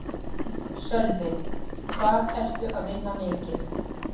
Sölvi: Hvað ertu að vinna mikið?